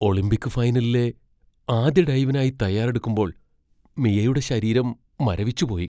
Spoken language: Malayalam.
ഒളിമ്പിക് ഫൈനലിലെ ആദ്യ ഡൈവിനായി തയ്യാറെടുക്കുമ്പോൾ മിയയുടെ ശരീരം മരവിച്ചുപോയി.